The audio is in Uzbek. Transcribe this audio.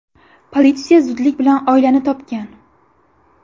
Politsiya zudlik bilan oilani topgan.